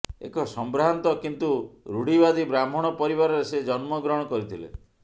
ଏକ ସମ୍ଭ୍ରାନ୍ତ କିନ୍ତୁ ଋଢ଼ିବାଦୀ ବ୍ରାହ୍ମଣ ପରିବାରରେ ସେ ଜନ୍ମ ଗ୍ରହଣ କରିଥିଲେ